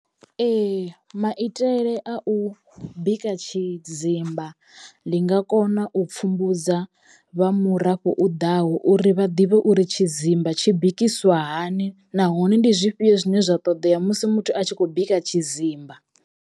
Ee maitele a u bika tshidzimba ndi nga kona u pfhumbudza vha murafho u ḓaho uri vha ḓivhe uri tshidzimba tshi bikiswa hani nahone ndi zwifhio zwine zwa ṱoḓea musi muthu a tshi khou bika tshidzimba.